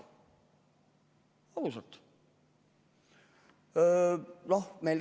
Ausalt!